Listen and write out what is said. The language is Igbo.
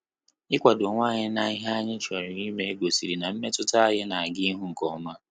Ikwado onwe anyị na ihe anyị chọrọ ime gosiri na mmetụta anyị na aga ihu nkeoma